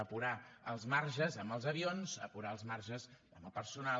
apurar els marges amb els avions apurar els marges amb el personal